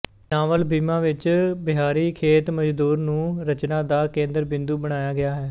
novel Bhima ਵਿਚ ਬਿਹਾਰੀ ਖੇਤਮਜ਼ਦੂਰ ਨੂੰ ਰਚਨਾ ਦਾ ਕੇਂਦਰ ਬਿੰਦੂ ਬਣਾਇਆ ਗਿਆ ਹੈ